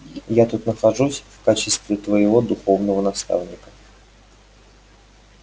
я тут нахожусь в качестве твоего духовного наставника